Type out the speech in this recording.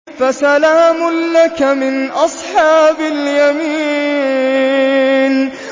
فَسَلَامٌ لَّكَ مِنْ أَصْحَابِ الْيَمِينِ